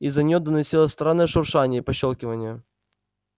из-за неё доносилось странное шуршание и пощёлкивание